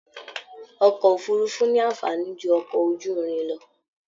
Ọkọ òfurùnfu ní anfààní jù ọkọ ojúrin lọ.